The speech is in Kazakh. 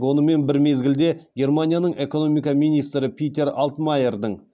онымен бір мезгілде германияның экономика министрі питер алтмайердің